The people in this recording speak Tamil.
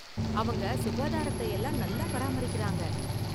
அவங்க சுகாதாரத்தை எல்லாம் நல்லா பராமரிக்கறாங்க.